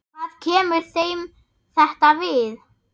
Hvað kemur þeim þetta við?